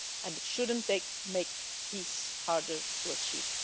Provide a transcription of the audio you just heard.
and it should not make peace harder to achieve.